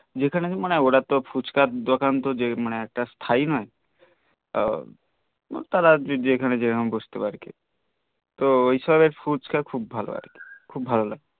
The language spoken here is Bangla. যেখানে আমি মনে ওরা তো ফুচকার দকান তো যে মনে একটা স্তায়ি নই তার আগে যেখানে বসত আর কি তো ওইসব এর ফুচকা খুব ভাল আর কি খূব ভালো লাগে